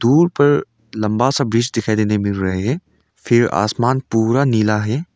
दूर पर लंबा सा ब्रिज दिखाई देने मिल रहे हैं फिर आसमान पूरा नीला है।